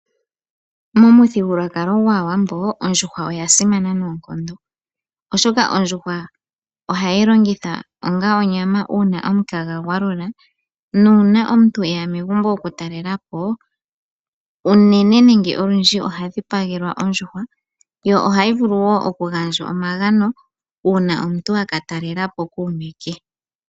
Momuthigululwakalo gwAawambo ondjuhwa oyasimana noonkondo , oshoka ondjuhwa ohayi longithwa onga onyama uuna omukaga gwalula. Nuuna omuntu eya megumbo eta okutalelapo , unene nenge olundji oha dhipagelwa ondjuhwa. Yo ohayi vulu wo okugandjwa omagano uuna omuntu aka talelapo kuume ke.